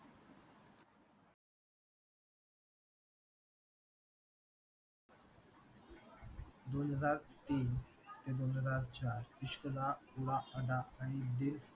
दोन हजार तीन ते दोन हजार चार इश्क दा उडा अडा आणि D